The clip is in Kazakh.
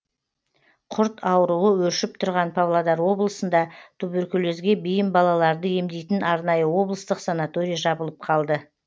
құрт ауруы өршіп тұрған павлодар облысында туберкулезге бейім балаларды емдейтін арнайы облыстық санаторий жабылып қалды